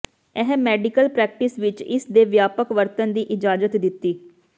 ਇਹ medical practice ਵਿੱਚ ਇਸ ਦੇ ਵਿਆਪਕ ਵਰਤਣ ਦੀ ਇਜਾਜ਼ਤ ਦਿੱਤੀ